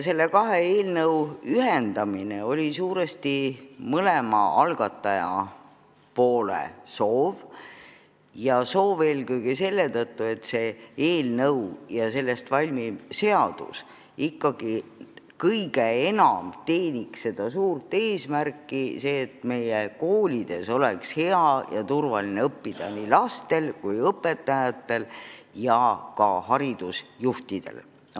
Kahe eelnõu ühendamine oli suurel määral mõlema algatajapoole soov ja seda eelkõige selle tõttu, et valmiv seadus ikkagi teeniks suurt eesmärki, et meie koolides oleks hea ja turvaline olla nii lastel kui õpetajatel ja ka haridusjuhtidel poleks sellega muret.